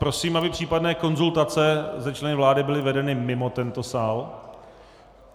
Prosím, aby případné konzultace se členy vlády byly vedeny mimo tento sál.